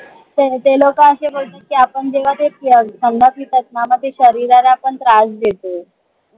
ते लोक अशे बोलतात की, आपण जेव्हा ते थंड पितात ना म ते शरीराला पण त्रास देते.